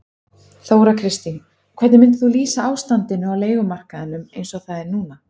Þóra Kristín: Hvernig myndir þú lýsa ástandinu á leigumarkaðnum eins og það er núna?